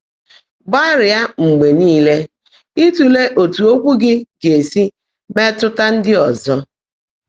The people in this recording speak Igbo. Gbáàlị́á mgbe níle ị́tụ́le ótú ókwụ́ gị́ gá-èsi meètụ́tá ndị́ ọ́zọ́.